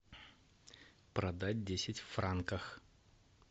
продать десять франков